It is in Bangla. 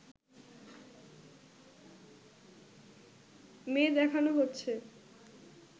মেয়ে দেখানো হচ্ছে